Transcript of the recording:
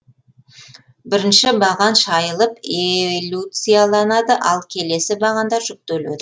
бірінші баған шайылып элюцияланады ал келесі бағандар жүктеледі